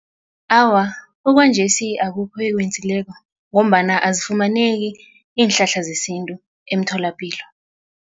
Awa, okwanjesi akukho eyikwenzileko ngombana azifumaneki iinhlahla zesintu emtholapilo.